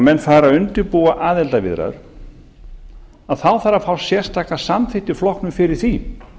menn fara að undirbúa aðildarviðræður þarf að fá sérstaka samþykkt í flokknum fyrir því